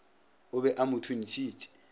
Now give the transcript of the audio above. o be a mo thuntšhitše